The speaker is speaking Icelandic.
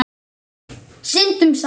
Syndum saman.